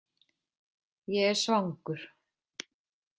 Ég er svangur